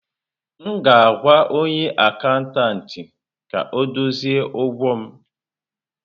M ga-ahụ onye akatantị ka ọ dozie ụgwọ m.